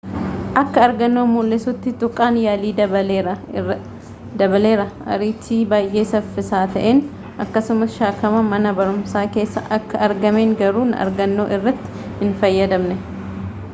akka argannoon mul'iisutti tuqaan yaalii dabaleera ariitti baayee safiisaa ta'een akkasumas shakkama mana barumsaa keessa akka argaamen garuu argannoo irratti hin fayyadamnee